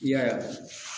I y'a ye